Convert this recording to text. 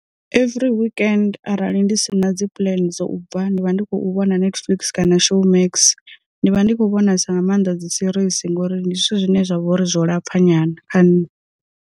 Every weekend arali ndi si na dzi puḽane dzo u bva ndi vha ndi khou vhona Netflix kana Showmax, ndi vha ndi kho vhonesa nga maanḓa dzi series ngori ndi zwithu zwine zwa vhouri zwo lapfha nyana kha nṋe.